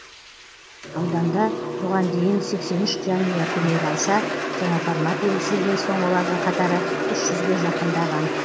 ауданда бұған дейін сексен үш жанұя көмек алса жаңа формат енгізілген соң олардың қатары үш жүзге жақындаған